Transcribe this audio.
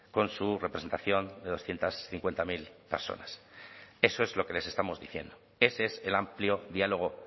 con su representación de doscientos cincuenta mil personas eso es lo que les estamos diciendo ese es el amplio diálogo